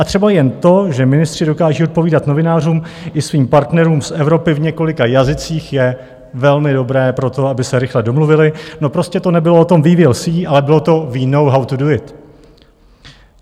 A třeba jen to, že ministři dokážou odpovídat novinářům i svým partnerům z Evropy v několika jazycích, je velmi dobré pro to, aby se rychle domluvili, no prostě to nebylo o tom "we will see", ale bylo to "we know, how to do it".